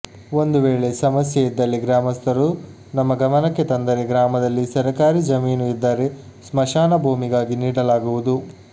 ಒಂದು ವೇಳೆ ಸಮಸ್ಯೆ ಇದ್ದಲ್ಲಿ ಗ್ರಾಮಸ್ಥರು ನಮ್ಮ ಗಮನಕ್ಕೆ ತಂದರೆ ಗ್ರಾಮದಲ್ಲಿ ಸರ್ಕಾರಿ ಜಮೀನು ಇದ್ದರೆ ಸ್ಮಶಾನ ಭೂಮಿಗಾಗಿ ನೀಡಲಾಗುವುದು